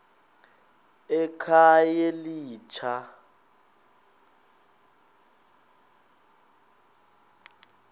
ekhayelitsha